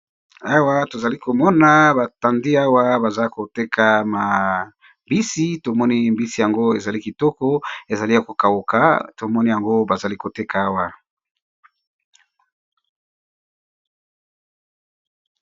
Awa tozali komona batandi awa baza koteka mabisi tomoni mbisi yango ezali kitoko ezali yakokaoka tomoni yango bazali koteka awa.